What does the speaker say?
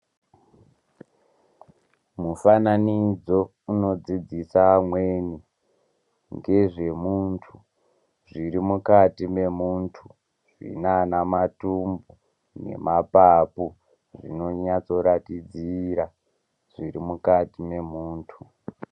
Mufananidzo unodzidzisa amweni ngezvemuntu ,zvirimukati memuntu hinana matumbu nemapapu zvinonase kuratidzira zvirimukati memuntu .